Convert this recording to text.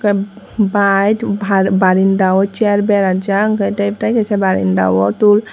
bike ba barenda wo chair berajak hwnkhe tei kaisa barenda wo tool.